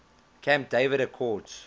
camp david accords